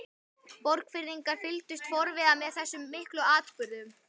Borgfirðingar fylgdust forviða með þessum miklu atburðum.